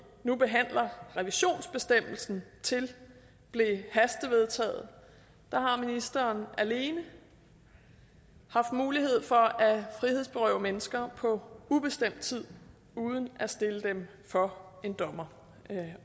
nu behandler revisionsbestemmelsen til blev hastevedtaget har ministeren alene haft mulighed for at frihedsberøve mennesker på ubestemt tid uden at stille dem for en dommer